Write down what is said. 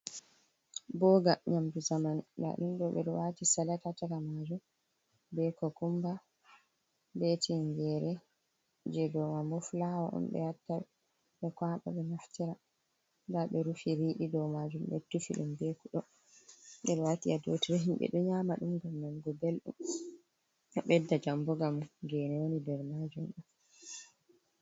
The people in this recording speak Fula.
Boga nyamdu zamanu da dum be do wati salat ha caka majum be kokumba be tingere je dau mai bo flawa on be watta be kwaba be naftira da be rufi ridi dau majum be tufi dum be kudol bedo wati ha dotire himbe do nyama dum gam man go beldum bedda jamu gam gene woni der majum dam.